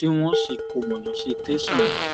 tí wọn sì kó wọn lọ sí tẹsán